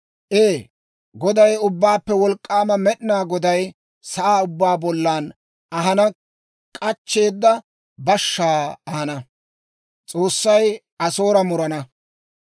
Ee, Goday, Ubbaappe Wolk'k'aama Med'inaa Goday sa'aa ubbaa bollan ahanaw k'achcheeda bashshaa ahana.